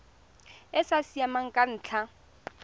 e sa siamang ka ntlha